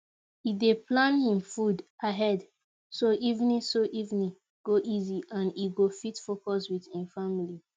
e dey plan hin food ahead so evening so evening go easy and e go fit focus with hin family